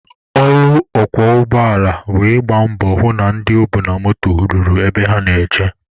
Ọrụ ọkwọ ụgbọala bụ ị gba mbọ hụ na ndị o bu na moto ruru ebe ha na-eje.